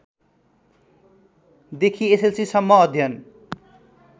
देखि एसएलसीसम्म अध्ययन